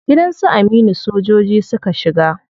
Gidan su Aminu sojojin suka shiga.